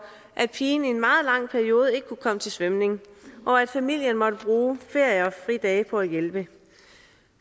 at pigen i en meget lang periode ikke kunne komme til svømning og at familien måtte bruge ferier og fridage på at hjælpe